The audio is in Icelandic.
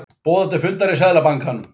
Boðað til fundar í Seðlabankanum